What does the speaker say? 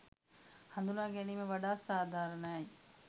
හඳුනාගැනීම වඩාත් සාධාරණයි.